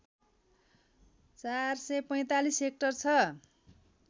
४४५ hectare छ